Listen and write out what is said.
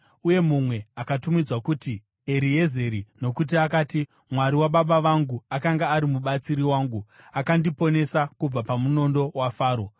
uye mumwe akatumidzwa kunzi Eriezeri, nokuti akati, “Mwari wababa vangu akanga ari mubatsiri wangu; akandiponesa kubva pamunondo waFaro.”